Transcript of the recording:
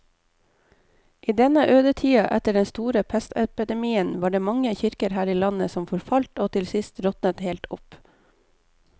I denne ødetida etter den store pestepidemien var det mange kirker her i landet som forfalt og til sist råtnet helt opp.